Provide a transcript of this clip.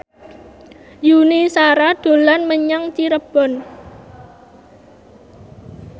Yuni Shara dolan menyang Cirebon